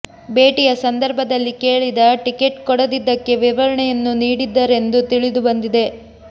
ಭೇಟಿಯ ಸಂದರ್ಭದಲ್ಲಿ ಕೇಳಿದ ಟಿಕೆಟ್ ಕೊಡದಿದ್ದಕ್ಕೆ ವಿವರಣೆಯನ್ನೂ ನೀಡಿದ್ದರೆಂದು ತಿಳಿದು ಬಂದಿದೆ